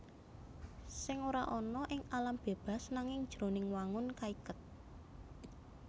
Sèng ora ana ing alam bébas nanging jroning wangun kaiket